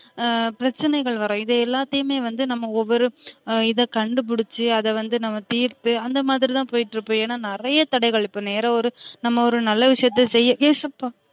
ஆஹ் பிரச்சனைகள் வரும் இத எல்லாத்தையுமே வந்து நம்ம ஒவ்வொரு இத கண்டுபிடிச்சு அத வந்து நம்ம தீர்த்து அந்த மாரி தான் போயிட்டு இருப்போம் ஏன்ன நிறையா தடைகள் இப்ப நேர ஒரு நம்ம ஒரு நல்ல விஷயத்தையே செய்ய ஏசப்பா